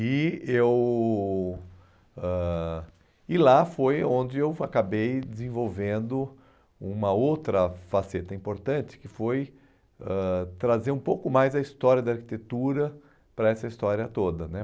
E eu... ãh e lá foi onde eu acabei desenvolvendo uma outra faceta importante, que foi ãh trazer um pouco mais a história da arquitetura para essa história toda, né?